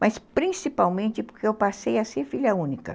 Mas principalmente porque eu passei a ser filha única.